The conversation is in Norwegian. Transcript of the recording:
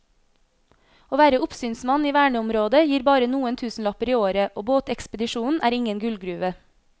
Å være oppsynsmann i verneområdet gir bare noen tusenlapper i året og båtekspedisjonen er ingen gullgruve.